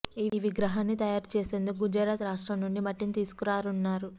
ఈ విగ్రహాన్ని తయారు చేసేందుకు గుజరాత్ రాష్ట్రం నుండి మట్టిని తీసుకురానున్నారు